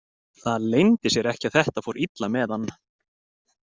Það leyndi sér ekki að þetta fór illa með hann.